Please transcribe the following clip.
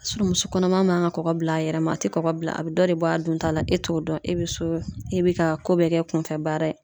muso kɔnɔma man ka kɔkɔ bila a yɛrɛ ma a ti kɔkɔ bila a bi dɔ de bɔ a dunta la e t'o dɔn e bi so e bi k'a ko bɛɛ kɛ kunfɛ baara ye.